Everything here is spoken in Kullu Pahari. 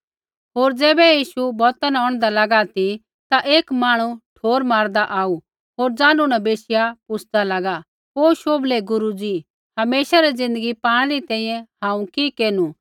होर ज़ैबै यीशु बौता न औंढदा लागा ती ता एक मांहणु ठोर मारदा आऊ होर ज़ानू न बैशिया पुछ़दा लागा ओ शोभलै गुरू जी हमेशा री ज़िन्दगी पाणै री तैंईंयैं हांऊँ कि केरनु